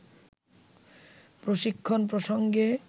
প্রশিক্ষণ প্রসঙ্গে